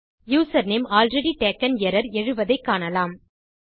username already taken error எழுவதை காணலாம்